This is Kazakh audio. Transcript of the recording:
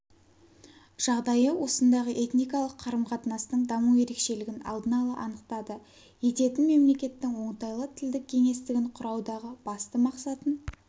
жағдайы осындағы этникалық қарым-қатынастың даму ерекшелігін алдын ала анықтады ететін мемлекеттің оңтайлы тілдік кеңістігін құраудағы басты мақсатын